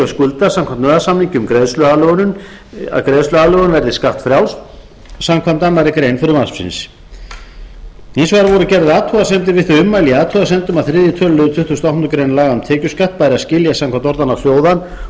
skulda samkvæmt nauðasamningi um greiðsluaðlögun verði skattfrjáls samanber aðra grein frumvarpsins hins vegar voru gerðar athugasemdir við þau ummæli í athugasemdum að þriðja tölulið tuttugasta og áttundu grein laga um tekjuskatt bæri að skilja samkvæmt orðanna hljóðan og á það